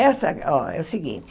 Essa, ó, é o seguinte.